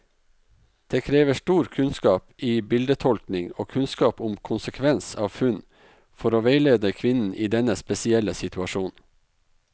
Det krever stor kunnskap i bildetolkning og kunnskap om konsekvens av funn, for å veilede kvinnen i denne spesielle situasjonen.